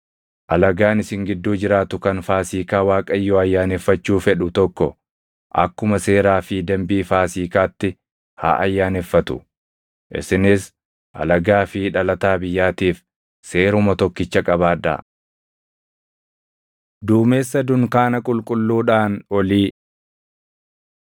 “ ‘Alagaan isin gidduu jiraatu kan Faasiikaa Waaqayyoo ayyaaneffachuu fedhu tokko akkuma seeraa fi dambii Faasiikaatti haa ayyaaneffatu. Isinis alagaa fi dhalataa biyyaatiif seeruma tokkicha qabaadhaa.’ ” Duumessa Dunkaana Qulqulluudhaan Olii